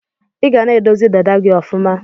Iga na edozi dada gi ọfuma.